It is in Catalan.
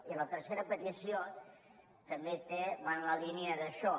i la tercera petició també va en la línia d’això